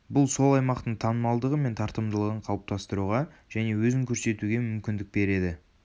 бұл сол аймақтың танымалдығы мен тартымдылығын қалыптастыруға және өзін көрсетуге мүмкіндік береді